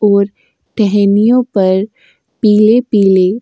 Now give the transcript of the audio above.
और टहनियों पर पीले पीले --